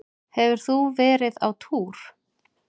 Hefur þú verið á túr?